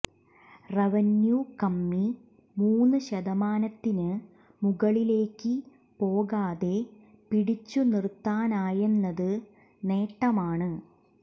revenue കമ്മി മൂന്ന് ശതമാനത്തിന് മുകളിലേക്ക് പോകാതെ പിടിച്ചു നിര്ത്താനായെന്നത് നേട്ടമാണ്